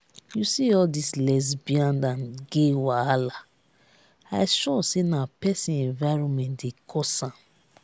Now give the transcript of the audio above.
you see all dis lesbian and gay wahala i sure say na person environment dey cause am